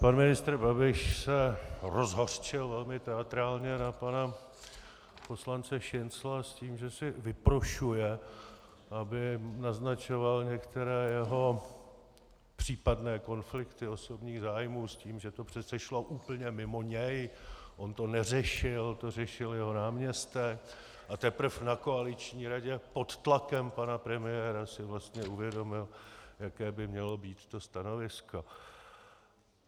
Pan ministr Babiš se rozhořčil velmi teatrálně na pana poslance Šincla s tím, že si vyprošuje, aby naznačoval některé jeho případné konflikty osobních zájmů, s tím, že to přece šlo úplně mimo něj, on to neřešil, to řešil jeho náměstek, a teprve na koaliční radě pod tlakem pana premiéra si vlastně uvědomil, jaké by mělo být to stanovisko.